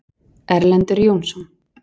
Erlendur Jónsson.